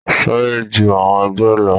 Sáré ju àwọn ẹgbẹ lọ.